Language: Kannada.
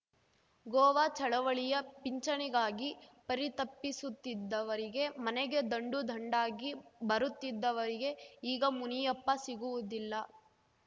ಗೋವಾ ಚಳವಳಿಯ ಪಿಂಚಣಿಗಾಗಿ ಪರಿತಪ್ಪಿಸುತ್ತಿದ್ದವರಿಗೆ ಮನೆಗೆ ದಂಡು ದಂಡಾಗಿ ಬರುತ್ತಿದ್ದವರಿಗೆ ಈಗ ಮುನಿಯಪ್ಪ ಸಿಗುವುದಿಲ್ಲ